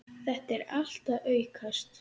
Þetta er allt að aukast.